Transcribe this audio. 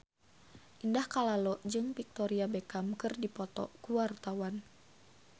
Indah Kalalo jeung Victoria Beckham keur dipoto ku wartawan